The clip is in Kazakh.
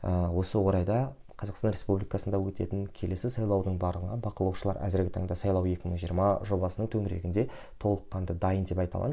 ыыы осы орайда қазақстан республикасында өтетін келесі сайлаудың барлығын бақылаушылар әзіргі таңда сайлау екі мың жиырма жобасының төңірегінде толыққанды дайын деп айта аламын